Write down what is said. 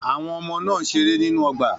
Àwọn ọmọ náà ń ṣeré nínú ọgbà.